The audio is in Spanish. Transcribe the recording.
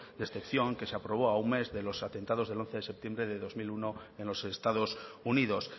de excepción que se aprobó a un mes de los atentados del once de septiembre del dos mil uno en los estados unidos